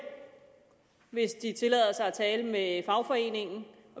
hvis de tillader sig at tale med fagforeningen